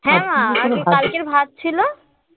হ্যাঁ মা আজকে কালকের ভাত ছিল ও হয়েছে হ্যাঁ